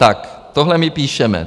Tak tohle my píšeme.